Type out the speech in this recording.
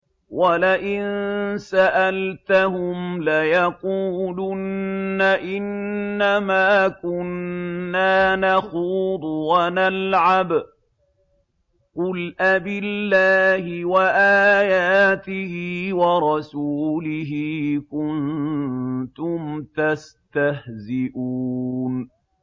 وَلَئِن سَأَلْتَهُمْ لَيَقُولُنَّ إِنَّمَا كُنَّا نَخُوضُ وَنَلْعَبُ ۚ قُلْ أَبِاللَّهِ وَآيَاتِهِ وَرَسُولِهِ كُنتُمْ تَسْتَهْزِئُونَ